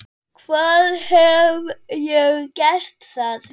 Hvar hef ég gert það?